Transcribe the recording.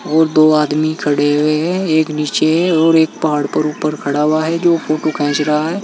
और दो आदमी खड़े हुए हैं एक नीचे है और एक पहाड़ पर ऊपर खड़ा हुआ है जो फोटो खींच रहा है।